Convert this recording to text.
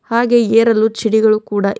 ಹಾಗೆ ಏರಲು ಚಿಡಿಗಳು ಕೂಡ --